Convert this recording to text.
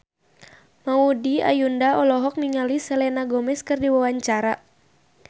Maudy Ayunda olohok ningali Selena Gomez keur diwawancara